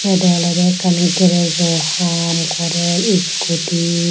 Edey olodey ekkan garajo haam gorer scooty.